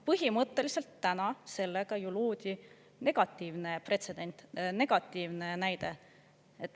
Põhimõtteliselt täna sellega ju loodi negatiivne pretsedent, negatiivne näide.